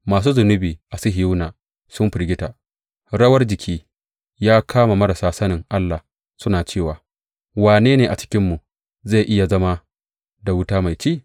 Masu zunubi a Sihiyona sun firgita; rawar jiki ya kama marasa sanin Allah suna cewa, Wane ne a cikinmu zai iya zama da wuta mai ci?